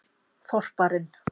þorparinn